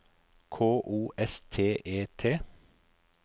K O S T E T